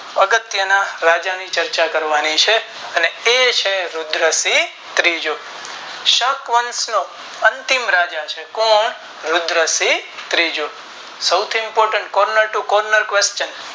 અગત્ય ના રાજા ની ચર્ચા કરવાની છે અને એ છે રુદ્રસિંહ ત્રીજો શક વંશ નો અંતિમ રાજા છે કોણ રુદ્રસિંહ ત્રીજો સૌથી Imponet corner to corner